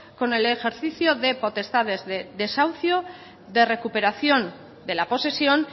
con el ejercicio de potestades de desahucio de recuperación de la posesión